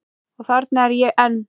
Og þarna er ég enn.